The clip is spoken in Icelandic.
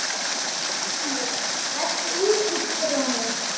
Brimi, læstu útidyrunum.